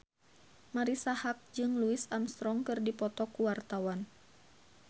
Marisa Haque jeung Louis Armstrong keur dipoto ku wartawan